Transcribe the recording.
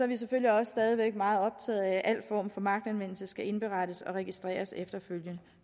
vi selvfølgelig også stadig væk meget optaget af at al form for magtanvendelse skal indberettes og registreres efterfølgende